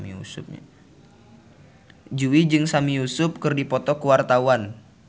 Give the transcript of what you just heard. Jui jeung Sami Yusuf keur dipoto ku wartawan